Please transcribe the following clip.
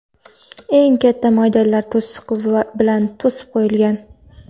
eng katta maydonlar to‘siqlar bilan to‘sib qo‘yilgan.